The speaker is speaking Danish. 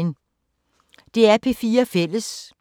DR P4 Fælles